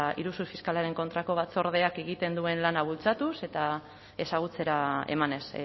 iruzur fiskalaren kontrako batzordeak egiten duen lana bultzatuz eta ezagutzera emanez